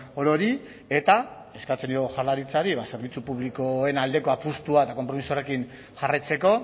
orori eta eskatzen diogu jaurlaritzari zerbitzu publikoen aldeko apustua eta konpromiso horrekin jarraitzeko